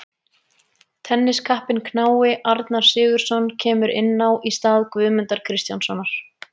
Tenniskappinn knái Arnar Sigurðsson kemur inn á í stað Guðmundar Kristjánssonar.